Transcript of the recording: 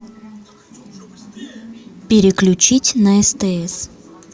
переключить на стс